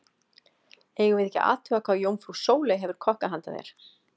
Eigum við ekki að athuga hvað jómfrú Sóley hefur kokkað handa þér.